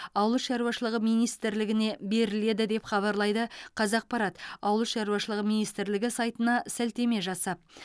ауыл шаруашылығы министрлігіне беріледі деп хабарлайды қазақпарат ауыл шаруашылығы министрлігінің сайтына сілтеме жасап